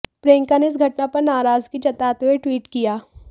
प्रियंका ने इस घटना पर नाराजगी जताते हुए ट्वीट किया